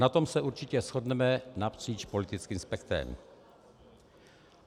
Na tom se určitě shodneme napříč politickým spektrem.